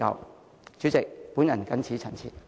代理主席，我謹此陳辭。